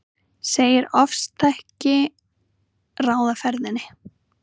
Segir ofstæki ráða ferðinni